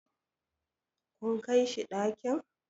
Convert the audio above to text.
kun Kai shi ɗakin?